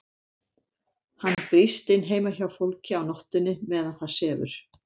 Hann brýst inn heima hjá fólki á nóttunni meðan það sefur.